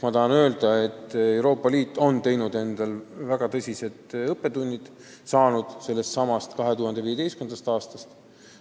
Ma tahan öelda, et Euroopa Liit on saanud väga tõsiseid õppetunde sellestsamast 2015. aastast.